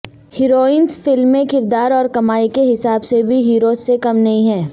heroines film میں کردار اور کمائی کے حساب سے بھی ہیروز سے کم نہیں ہیں